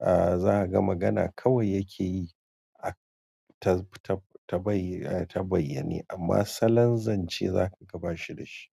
ah za ka ga magana kawai yake yi ta bayyane amma salon zance za ka ga ba shi da shi.